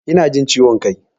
Ina jin ciwon kai.